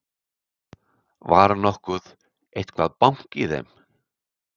Var nokkuð eitthvað bank í þeim?